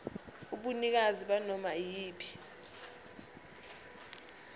ubunikazi banoma iyiphi